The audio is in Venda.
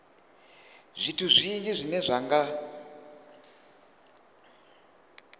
zwithu zwinzhi zwine zwa nga